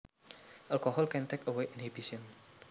Alcohol can take away inhibition